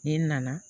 Ni nana